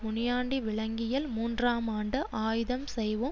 முனியான்டி விலங்கியல் மூன்றாமாண்ட ஆயுதம் செய்வோம்